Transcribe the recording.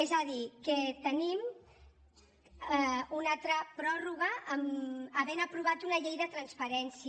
és a dir que tenim una altra pròrroga havent aprovat una llei de transparència